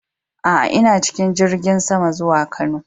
A a, ina cikin jirigin sama zuwa Kano.